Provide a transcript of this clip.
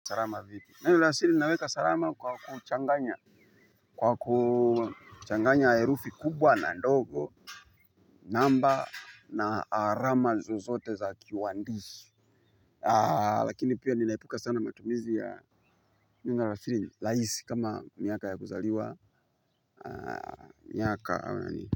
Salama vipi, neno la sili naweka salama kwa kuchanganya. Kwa kuchanganya herufi kubwa na ndogo namba na alama zozote za kiwaandishi lakini pia ninaepuka sana matumizi ya neno la siri rahisi kama miaka ya kuzaliwa miaka ama ni.